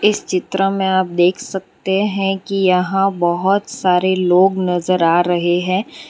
इस चित्र में आप देख सकते हैं कि यहां बहोत सारे लोग नजर आ रहे हैं।